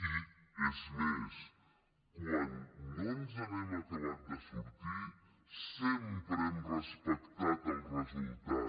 i és més quan no ens n’hem acabat de sortir sempre hem respectat el resultat